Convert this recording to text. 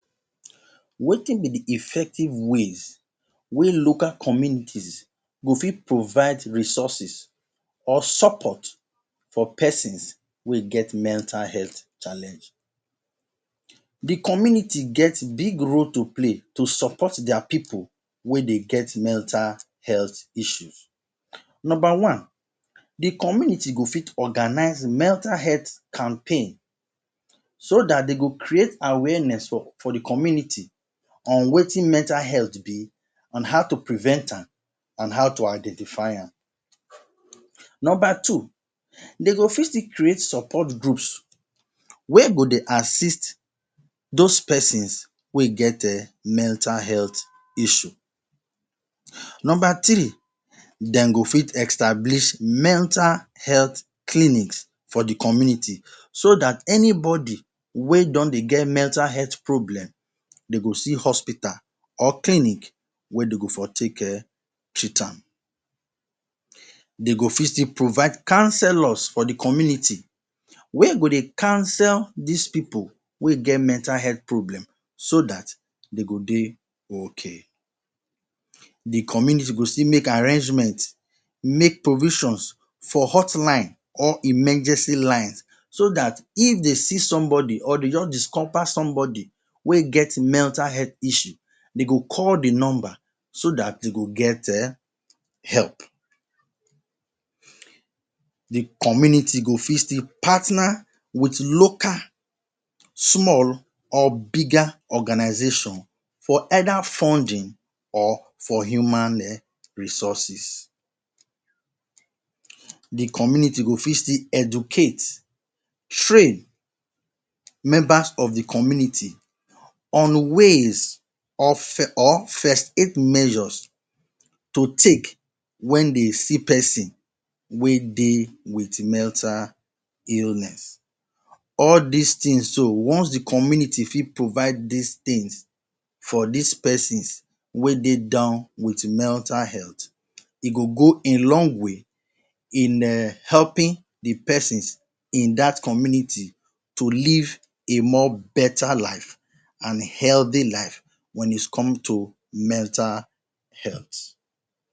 Wetin be the effective ways wey local community go fit go fit provide resources or support for persons wey get mental health challenge? The community get big role to play to support their people wey dey get mental health issues. Number one: the community go fit organize mental health campaign so that they go create awareness for the community on wetin mental health be and how to prevent am and how to identify am. Number two: they go still fit create support group wey go dey assist those persons wey get mental health issue. Number three: dem go fit establish mental health clinic for community so that any body wey get mental issue Number three: dem go fit establish mental health clinic for the community so that anybody wey don they get mental health problem them go see hospital or clinic wey dey for take e treat am. dey go still fit provide councillor for the community wey go dey council these people wey get mental health problem so dat dey go dey ok. The community go still make arrangement, make provision for hot lines emergency line so that if dey see somebody or they just discover somebody wey get mental issue they go call the number so that e go get help. The community go fit still partner with local, small or bigger organization for either funding or for human resources. The community go fit still educate, train members of the community on ways or first aid measures to take when they see person wey dey with mental illness. All these things so once the community fit provide these things for this person wey dey down with mental health e go go a long way in helping the person in dat community to live a more better life and healthy life once it comes to mental health.